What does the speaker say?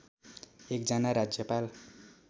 एक जना राज्यपाल